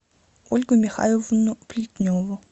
ольгу михайловну плетневу